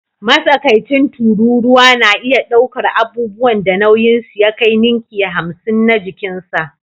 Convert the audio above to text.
Matsakaicin tururuwa na iya ɗaukar abubuwan da nauyinsu ya kai ninki hamsin na jikinsa